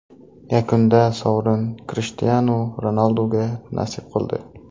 Yakunda sovrin Krishtianu Ronalduga nasib qildi .